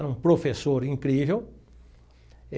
Era um professor incrível.